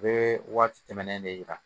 U bɛ waati tɛmɛnen de yira